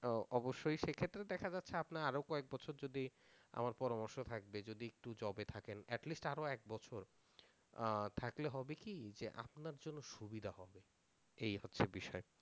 অবশ্যই সেক্ষেত্রে দেখা যাচ্ছে আপনার আরও কয়েক বছর যদি আমার পরামর্শ থাকবে যদি একটু যবে থাকেন এটলিস্ট আরও এক বছর থাকলে হবে কি যে আপনার জন্য সুবিধা হবে এই হচ্ছে বিষয়